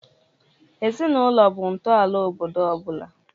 Ezinaụlọ bụ ntọala obodo ọ bụla.